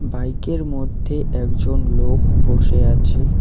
বাইকের মধ্যে একজন লোক বসে আছে।